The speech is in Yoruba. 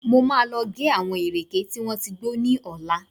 Mo máa lọ gé àwọn ìrèké tí wọ́n ti gbó ní ọ̀la